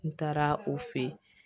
N taara o fe yen